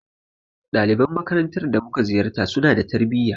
Daliban makarantar da mu ka ziyarta, su na da tarbuyya.